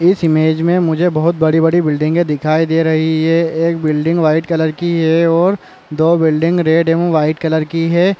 इस इमेज में मुझे बहुत बड़ी-बड़ी बिलडिंगे दिखाई दे रही है एक बिलडिंग वाइट कलर की है और दो बिलडिंग रेड एवं वाइट कलर की है।